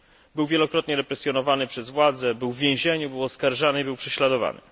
Był on wielokrotnie represjonowany przez władze, siedział w więzieniu, był oskarżany i prześladowany.